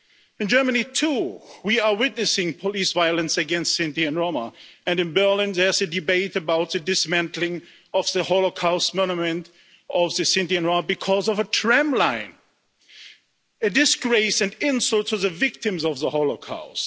In Germany, too, we are witnessing police violence against Sinti and Roma, and in Berlin there is a debate about the dismantling of the Holocaust monument to the Sinti and Roma because of a tramline a disgrace and insult to the victims of the Holocaust.